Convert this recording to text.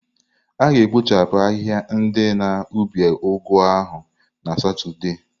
A ga-ekpochapụ ahịhịa ndi na ubi ugu ahu na Satọde.